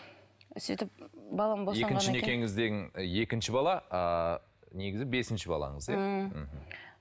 сөйтіп балам екінші некеңізден екінші бала ыыы негізі бесінші балаңыз иә ммм мхм